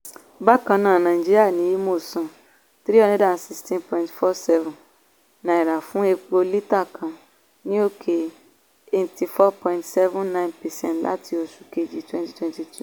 bákan náà nàìjíríà ní imo san # three hundred sixteen point four seven fún epo lítà kan ní òkè eighty four point seven nine percent láti oṣù kejì twenty twenty two.